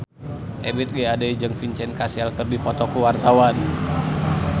Ebith G. Ade jeung Vincent Cassel keur dipoto ku wartawan